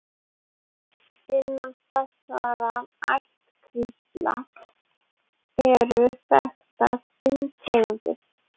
Innan þessarar ættkvíslar eru þekktar fimm tegundir.